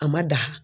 A ma da